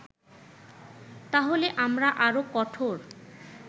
তাহলে আমরা আরো কঠোর